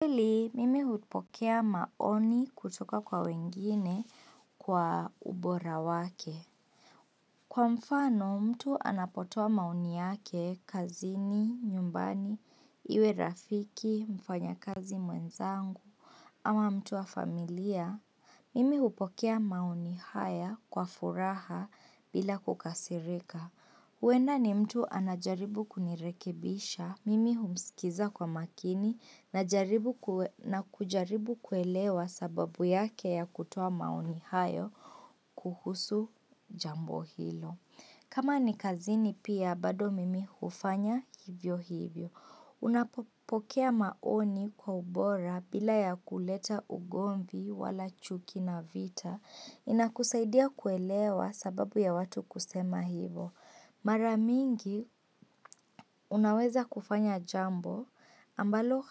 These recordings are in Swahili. Pili, mimi hupokea maoni kutoka kwa wengine kwa ubora wake. Kwa mfano, mtu anapotoa maoni yake, kazini, nyumbani, iwe rafiki, mfanya kazi mwenzangu, ama mtu wa familia. Mimi hupokea maoni haya kwa furaha bila kukasirika. Huenda ni mtu anajaribu kunirekebisha. Mimi humsikiza kwa makini na kujaribu kuelewa sababu yake ya kutoa maoni hayo kuhusu jambo hilo. Kama ni kazini pia, bado mimi hufanya hivyo hivyo. Unapopokea maoni kwa ubora bila ya kuleta ugomvi wala chuki na vita. Inakusaidia kuelewa sababu ya watu kusema hivo. Mara mingi unaweza kufanya jambo ambalo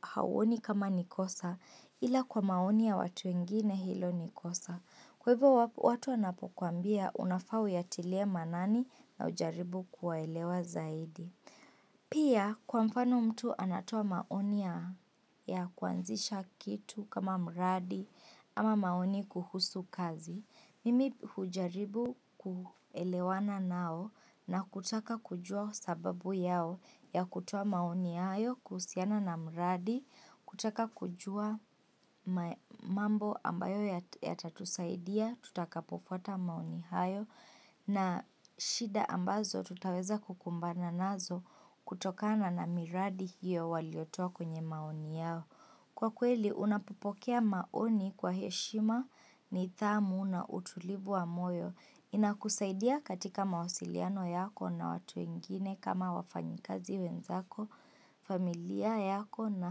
hauoni kama nikosa ila kwa maoni ya watu wengine hilo nikosa. Kwa hivyo watu wanapokuambia unafaa uyatilie maanani na ujaribu kuwaelewa zaidi. Pia kwa mfano mtu anatoa maoni ya kuanzisha kitu kama mradi ama maoni kuhusu kazi. Mimi hujaribu kuelewana nao na kutaka kujua sababu yao ya kutoa maoni hayo kuhusiana na mradi, kutaka kujua mambo ambayo ya tatusaidia, tutaka pofuata maoni hayo na shida ambazo tutaweza kukumbana nazo kutokana na miradi hiyo waliotoa kwenye maoni yao. Kwa kweli, unapopokea maoni kwa heshima nidhamu na utulivu wa moyo. Inakusaidia katika mawasiliano yako na watu wengine kama wafanyikazi wenzako, familia yako na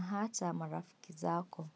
hata marafikizako.